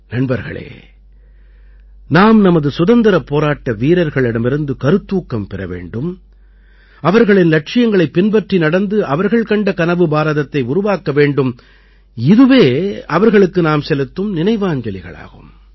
நண்பர்களே நாம் நமது சுதந்திரப் போராட்ட வீரர்களிடமிருந்து கருத்தூக்கம் பெற வேண்டும் அவர்களின் இலட்சியங்களைப் பின்பற்றி நடந்து அவர்கள் கண்ட கனவு பாரதத்தை உருவாக்க வேண்டும் இதுவே அவர்களுக்கு நாம் செலுத்தும் நினைவாஞ்சலிகளாகும்